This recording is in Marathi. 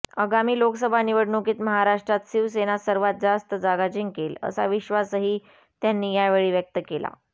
आगामी लोकसभा निवडणुकीत महाराष्ट्रात शिवसेना सर्वात जास्त जागा जिंकेल असा विश्वासही त्यांनी यावेळी व्यक्त केला